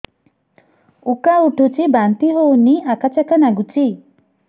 ଉକା ଉଠୁଚି ବାନ୍ତି ହଉନି ଆକାଚାକା ନାଗୁଚି